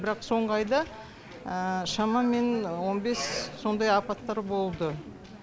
бірақ соңғы айда шамамен он бес сондай апаттар болды